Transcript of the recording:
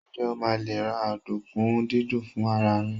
njé o ma le ra ọdunkun didin fún ara rẹ